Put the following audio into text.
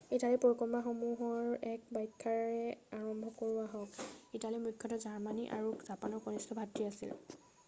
ইটালীৰ পৰিকল্পনাসমূহৰ এক ব্যাখ্যা্ৰে আৰম্ভ কৰোঁ আহক ইটালী মূখ্যতঃ জাৰ্মানী আৰু জাপানৰ কণিষ্ঠ ভাতৃ আছিল